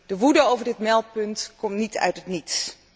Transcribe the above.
De woede over het meldpunt komt niet uit het niets.